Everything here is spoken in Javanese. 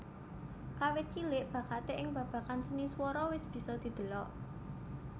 Kawit cilik bakaté ing babagan seni swara wis bisa didelok